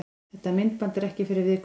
Þetta myndband er ekki fyrir viðkvæma.